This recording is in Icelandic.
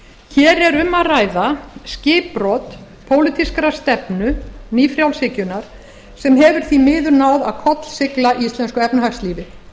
hér er um að ræða skipbrot pólitískrar stefnu ný frjálshyggjunnar sem hefur því miður náð að kollsigla íslensku efnahagslífi